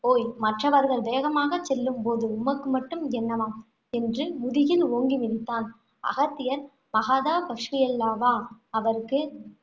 ஓய் மற்றவர்கள் வேகமாகச் செல்லும் போது, உமக்கு மட்டும் என்னவாம் என்று, முதுகில் ஓங்கி மிதித்தான். அகத்தியர் பகாதபஸ்வியல்லவா அவருக்கு